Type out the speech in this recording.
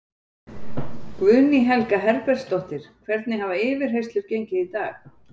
Guðný Helga Herbertsdóttir: Hvernig hafa yfirheyrslur gengið í dag?